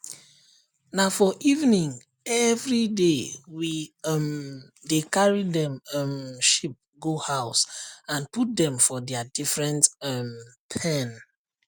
na for evening everydaywe um dey carry dem um sheep go house and put dem for dia different um pen